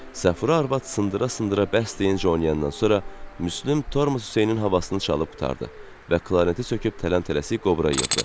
Səfura arvad sındıra-sındıra bəhs deyincə oynayandan sonra Müslüm tormoz Hüseynin havasını çalıb qurtardı və klarineti söküb tələm-tələsik qobra yığdı.